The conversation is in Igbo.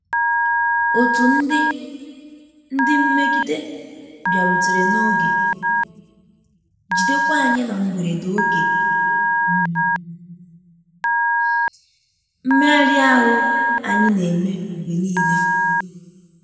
Otu ndị ndị mmegide bịarutere na oge, jidekwa anyị na mgberede oge um mmegharị ahụ anyị na-eme mgbe niile